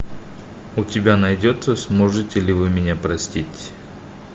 у тебя найдется сможете ли вы меня простить